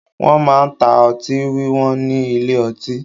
Wọn máa ń ta ọtí wíwọ́n ní ilé ọtí